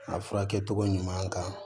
A furakɛ cogo ɲuman kan